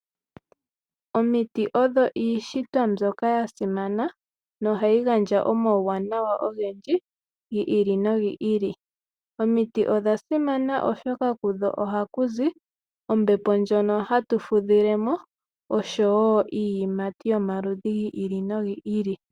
Omiti odho iishitwa mbyoka ya simana nohayi gandja omauwanawa ogendji gi ili nogi ili. Omiti odha simana oshoka ohaku zi ombepo ndjono hatu fudhilemo, osho wo iiyimati yomaludhi gi ili nogi ili.